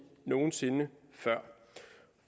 nogen sinde før